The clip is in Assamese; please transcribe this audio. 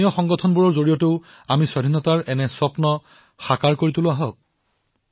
দেশবাসীৰ ঘামৰ সুঘ্ৰাণ যত থাকে সেয়াই আমাৰ স্বাধীন ভাৰতৰ মনোৰম সময় হৈ উঠক এই সপোনাক লৈ আমি আগবাঢ়িম